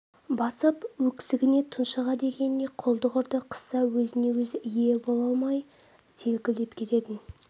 басып өксігіне тұншыға дегеніне құлдық ұрды қысса өзіне-өзі ие бола алмай селкілдеп кететін